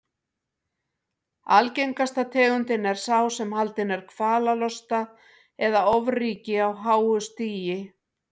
Algengasta tegundin er sá sem haldinn er kvalalosta eða ofríki á háu stigi.